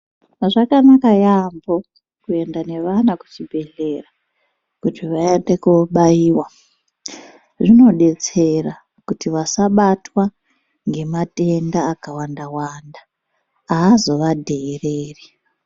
Zvakanaka yaamho kuenda nevana kuchibhedhleya kuti vaende kobaiwa zvinodetsera kuti vasabatwa ngematenda akawanda wanda azovadheereri.